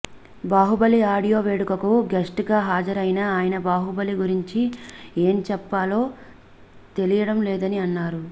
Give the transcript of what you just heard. Baahubali audio వేడుకకు guest గా హాజరైన ఆయన బాహుబలి గురించి ఏం చెప్పాలో తెలియడం లేదని అన్నారు